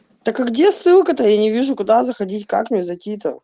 так а где ссылка-то я не вижу куда заходить как мне зайти-то